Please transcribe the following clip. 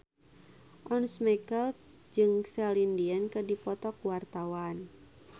Once Mekel jeung Celine Dion keur dipoto ku wartawan